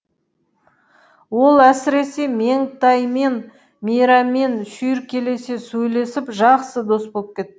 ол әсіресе меңтаймен мейрамен шүйіркелесе сөйлесіп жақсы дос боп кет